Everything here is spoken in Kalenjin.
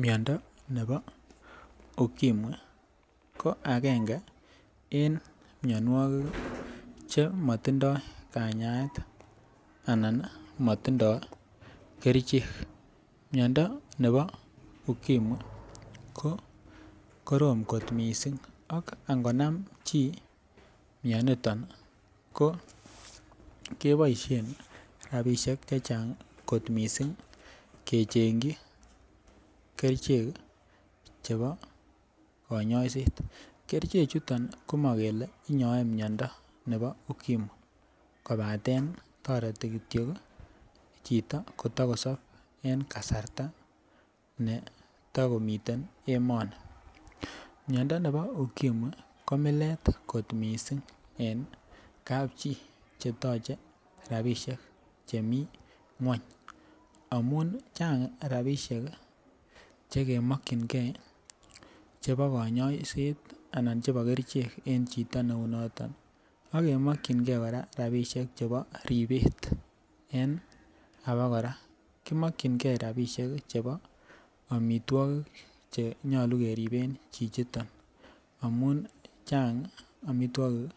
Miando nebo ukimwi ko agenge en mianwogik Che matindoi kanyaet anan matindoi kerichek miando nebo ukimwi ko korom kot mising ak angonam chi mianito ko keboisien rabisiek Che Chang kot mising kechengji kerichek chebo kanyaiset kerichek chuto ko mo kele inyoe miando nebo ukimwi kobaten toreti Kityo chito kotakosob en kasarta neta komiten emoni miando nebo ukimwi ko milet kot mising en kapchi Che toche rabisiek Che mi ngwony amun Chang rabisiek Che mokyingei chebo kanyaiset anan chebo kerichek en chito neunoton ak kemokyinge kora rabisiek chebo ribet en abakora ki mokyingei rabisiek chebo amitwogik Che nyolu keriben chichoto amun Chang amitwogik